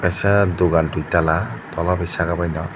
kaisa dukan dui tala tola bai sakabaino.